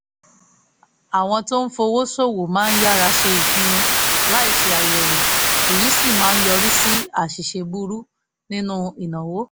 àwọn tó ń fowó ṣòwò máa yára ṣe ìpinnu láìṣe àyẹ̀wò èyí sì máa yọrí sí àṣìṣe burú nínú ìnáwó